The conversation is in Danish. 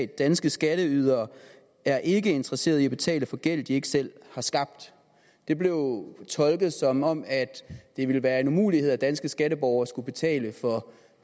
danske skatteydere er ikke interesseret i at betale for gæld de ikke selv har skabt det blev tolket som om det ville være en umulighed at danske skatteborgere skulle betale for